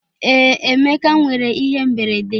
Ee, Emeka nwere ihe mberede.